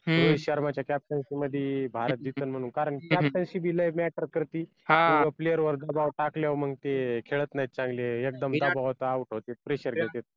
रोहित शर्माच्या captaincy मधी भारत जिंकन म्हणून कारण captaincy बी लय matter करती किंवा player वर दबाव टाकलं मग ते खेळत नाहीत चांगले एकदम दबावात out होतात pressure घेतात